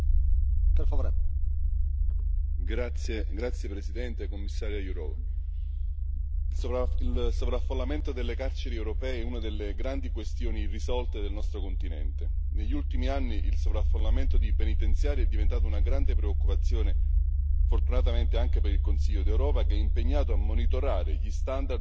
Signor Presidente, onorevoli colleghi, Commissaria Jourová, il sovraffollamento delle carceri europee è una delle grandi questioni irrisolte del nostro continente. Negli ultimi anni il sovraffollamento dei penitenziari è diventato una grande preoccupazione, fortunatamente, anche per il Consiglio d'Europa, che è impegnato a monitorare gli standard delle pratiche nelle carceri europee.